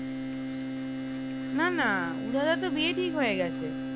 না না উদয় দার তো বিয়ে ঠিক হয়ে গেছে